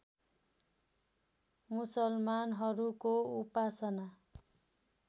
मुसलमानहरूको उपासना